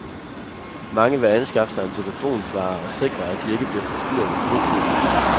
Mange vil anskaffe sig en telefonsvarer og sikre, at de ikke bliver forstyrret i fritiden.